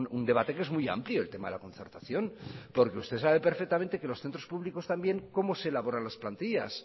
un debate que es muy amplio el tema de la concertación porque usted sabe perfectamente que en los centros públicos también cómo se elaboran las plantillas